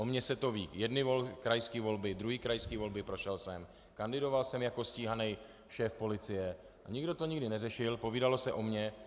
O mně se to ví jedny krajské volby, druhé krajské volby, prošel jsem, kandidoval jsem jako stíhaný šéf policie, nikdo to nikdy neřešil, povídalo se o mně.